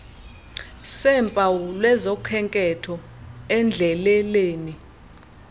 seempawu lwezokhenketho endleleleni